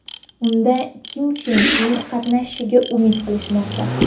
Unda Kim Chen In qatnashishiga umid qilishmoqda.